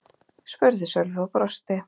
spurði Sölvi og brosti.